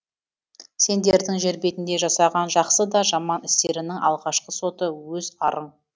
сендердің жер бетінде жасаған жақсы да жаман істеріңнің алғашқы соты өз арың